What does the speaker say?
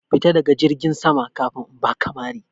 Fita daga jirgin sama kafin in baka mari!